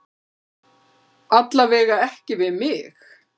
Alla vega ekki við mig.